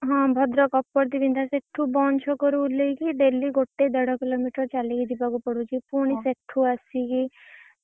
ହଁ ଭଦ୍ରକ୍ ଅପର୍ତୀ ଦିଣ୍ଡଆ ସେଠୁ ଛକରୁ ଓଲ୍ହେଇକି daily ଗୋଟେ ଦେଢ kilometer ଚାଲିକି ଯିବାକୁ ପଡୁଛି, ପୁଣି ସେଠୁ